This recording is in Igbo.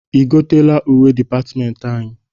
I goteela uwe dịpatịmentị anyị?